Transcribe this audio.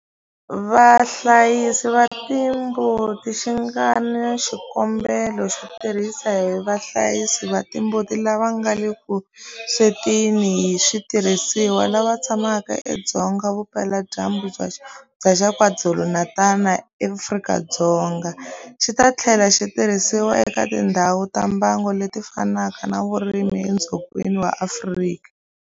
Vahlayisi va timbuti xi nga na xikombelo xo tirhisiwa hi vahlayisi va timbuti lava nga le vuswetini hi switirhisiwa lava tshamaka edzonga vupeladyambu bya Xifundzha xa KwaZulu-Natal eAfrika-Dzonga, xi ta tlhela xi tirhisiwa eka tindhawu ta mbango leti fanaka ta vurimi edzongeni wa Afrika.